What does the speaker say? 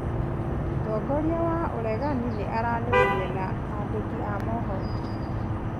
Mũtongoria wa ũregani nĩ aranĩirie na andĩki a mohoro